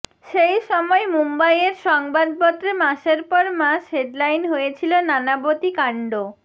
সেই সময় মুম্বইয়ের সংবাদপত্রে মাসের পর মাস হেডলাইন হয়েছিল নানাবতী কাণ্ড